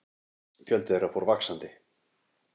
Fjöldi þeirra fór vaxandi.